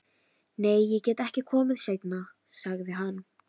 Nei, ég get ekki komið seinna, sagði hann.